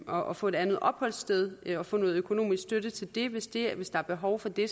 og få et andet opholdssted og få noget økonomisk støtte til det hvis det hvis der er behov for det